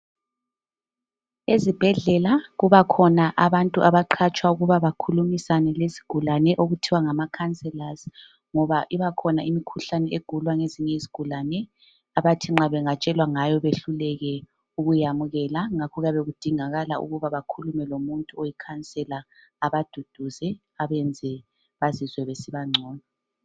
ezibhedlela kubakhona abantu abaqatshwa ukuba abakhulumisane lezigulane okuthiwa ngama counsellors ngoba ibakhona eminye imikhuhlane egulwa ngezinye izigulane abathi nxa bengatshelwa ngayo behluleke ukuyamukela ngakho kuyabe kudingakala ukuthi bakhulume lomuntu ongu conselor abaduduze abenze bazizwe besiba ngcono